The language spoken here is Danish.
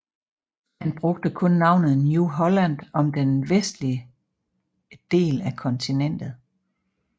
Han brugte kun navnet New Holland om den vestlige del af kontinentet